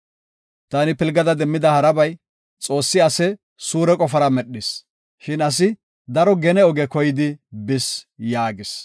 Taani pilgada demmida harabay, Xoossi ase suure qofara medhis; shin asi daro gene oge koyidi bis” yaagis.